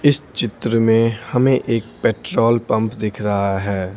इस चित्र में हमें एक पेट्रोल पंप दिख रहा है।